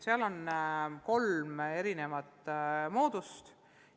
Selleks on kolm erinevat moodust.